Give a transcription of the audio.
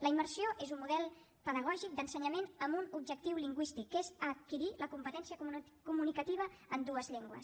la immersió és un model pedagògic d’ensenyament amb un objectiu lingüístic que és adquirir la competència comunicativa en dues llengües